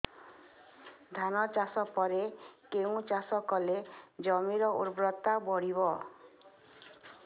ଧାନ ଚାଷ ପରେ କେଉଁ ଚାଷ କଲେ ଜମିର ଉର୍ବରତା ବଢିବ